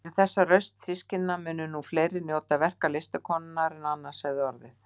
Fyrir þessa rausn systkinanna munu nú fleiri njóta verka listakonunnar en annars hefði orðið.